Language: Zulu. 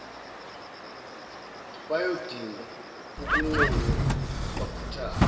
bayodinga ukunconywa bakhuthazwe